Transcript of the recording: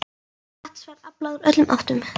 Vatns var aflað úr öllum áttum.